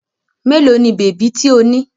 Mélòó ni bèbí tí ó ní?